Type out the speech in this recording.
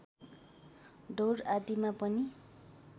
दौड आदिमा पनि